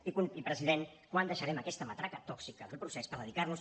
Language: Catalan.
i president quan deixarem aquesta matraca tòxica del procés per dedicar nos